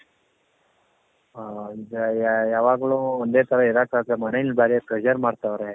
ಅ ಈಗ ಯಾವಾಗಲು ಒಂದೇ ತರ ಇರಕ್ಕಾಗದೆ ಮನೇಲಿ ಬಾರಿ pressure ಮಾಡ್ತಾ ಅವ್ರೆ